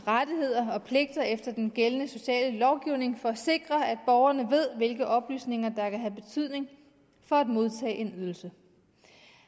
rettigheder og pligter efter den gældende sociale lovgivning for at sikre at borgerne ved hvilke oplysninger der kan have betydning for at modtage en ydelse